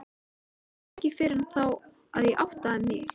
Það var ekki fyrr en þá að ég áttaði mig.